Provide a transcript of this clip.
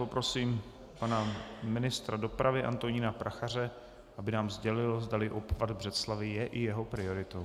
Poprosím pana ministra dopravy Antonína Prachaře, aby nám sdělil, zdali obchvat Břeclavi je i jeho prioritou.